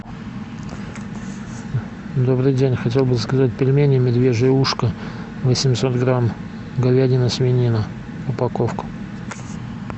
добрый день хотел бы заказать пельмени медвежье ушко восемьсот грамм говядина свинина упаковка